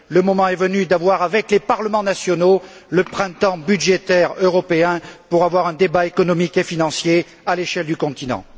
Le moment est venu d'avoir, avec les parlements nationaux, le printemps budgétaire européen pour avoir un débat économique et financier à l'échelle du continent.